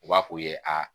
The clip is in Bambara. U b'a f'u ye aa